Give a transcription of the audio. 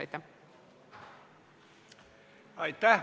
Aitäh!